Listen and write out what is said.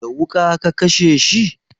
Da wuƙa ka kashe shi?